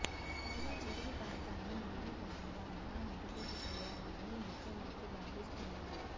పైగా చెరువు ప్రాంతాన్ని మినీ టాంక్బండ్గా అభివృద్ధి చేయాలని ముఖ్యమంత్రి భావిస్తున్నారు